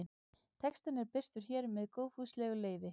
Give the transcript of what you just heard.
Textinn er birtur hér með góðfúslegu leyfi.